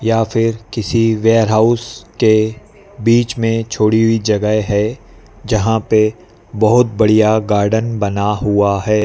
या फिर किसी वेयरहाउस के बीच में छोड़ी हुई जगह है जहाँ पे बहोत बढ़िया गार्डन बना हुआ है।